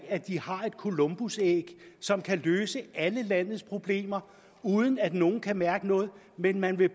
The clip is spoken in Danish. at de har et columbusæg som kan løse alle landets problemer uden at nogen kan mærke noget men man vil